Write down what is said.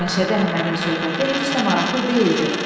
Məşədi Əhmədin söhbəti heç də maraqlı deyildi.